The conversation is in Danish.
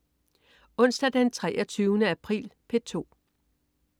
Onsdag den 23. april - P2: